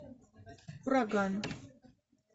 ураган